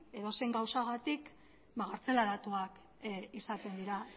edozein gauzagatik gartzelaratuak izaten dira